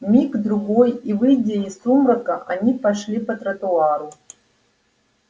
миг другой и выйдя из сумрака они пошли по тротуару